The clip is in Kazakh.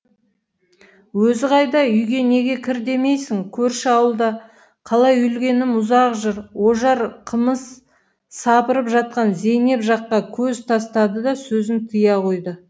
өзі қайда үйге неге кір демейсің көрші ауылда қалай үлгенім ұзақ жыр ожар қымыз сапырып жатқан зейнеп жаққа көз тастады да сөзін тыя қойды